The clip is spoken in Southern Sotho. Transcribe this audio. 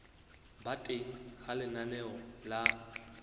ba teng ha lenaneo la